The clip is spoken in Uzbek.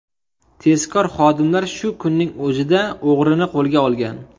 Tezkor xodimlar shu kunning o‘zida o‘g‘rini qo‘lga olgan.